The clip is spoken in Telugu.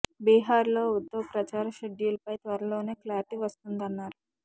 బీహార్ లో ఉద్ధవ్ ప్రచార షెడ్యూల్ పై త్వరలోనే క్లారిటీ వస్తుందన్నారు